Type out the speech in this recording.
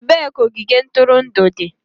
Ebee ka ogige ntụrụndụ dị?